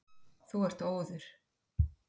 Þú ert óður!